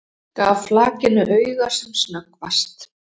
Gaf flakinu auga sem snöggvast.